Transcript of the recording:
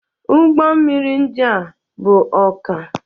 Ụgbọ mmiri ndị a bu ọka.